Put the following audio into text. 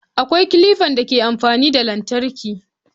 Akwai kilifan da ke amfani da battir